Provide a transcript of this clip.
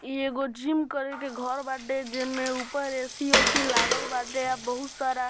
इ एगो जिम करे के घर बाटे जे में ऊपर ए.सी. ओसी लागल बाटे और बहुत सारा --